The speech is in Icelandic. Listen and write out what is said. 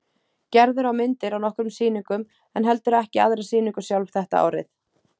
Gerður á myndir á nokkrum sýningum en heldur ekki aðra sýningu sjálf þetta árið.